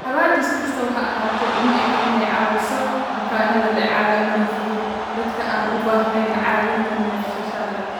Daawadu, si kastaba ha ahaatee, uma eka inay caawiso bukaanada leh calaamado fudud - dadka aan u baahnayn caawinta neefsashada.